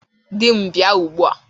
Dị m bịa ugbua!